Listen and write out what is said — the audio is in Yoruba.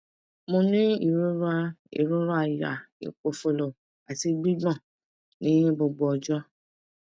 mo ní ìrora ìrora àyà ipofolo àti gbigbon ní gbogbo ọjọ